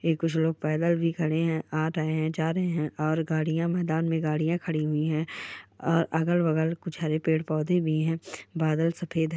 कुछ लोग पैदल भी खड़े हैं आ रहे हैं जा रहे हैं और गाड़िया मैदान मे गाड़ियां खड़ी हुई हैं अगल बगल कुछ हरे पेड़ पौधे भी हैं बादल सफेद है।